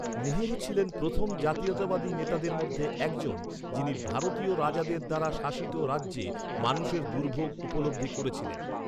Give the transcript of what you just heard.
নেহেরু ছিলেন প্রথম জাতীয়তাবাদী নেতাদের মধ্যে একজন যিনি ভারতীয় রাজাদের দ্বারা শাসিত রাজ্যে মানুষের দুর্ভোগ উপলব্ধি করেছিলেন।